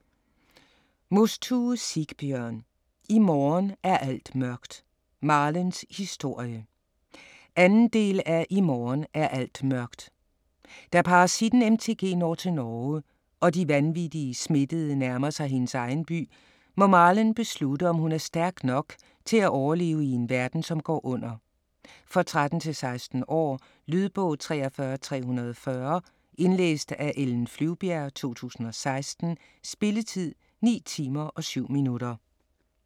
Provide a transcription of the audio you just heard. Mostue, Sigbjørn: I morgen er alt mørkt - Marlens historie 2. del af I morgen er alt mørkt. Da parasitten MTG når til Norge, og de vanvittige smittede nærmer sig hendes egen by, må Marlen beslutte om hun er stærk nok til at overleve i en verden som går under. For 13-16 år. Lydbog 43340 Indlæst af Ellen Flyvbjerg, 2016. Spilletid: 9 timer, 7 minutter.